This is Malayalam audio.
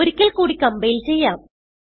ഒരിക്കൽ കൂടി കംപൈൽ ചെയ്യാം